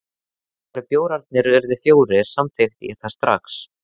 Þegar bjórarnir urðu fjórir, samþykkti ég það strax.